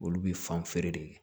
Olu bi fan feere de kɛ